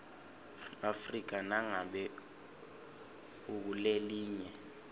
afrika nangabe ukulelinye